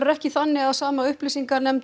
ekki þannig að sama nefnd